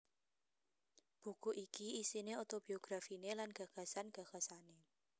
Buku iki isiné otobiografiné lan gagasan gagasané